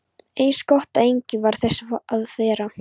Eins gott að enginn varð þess var!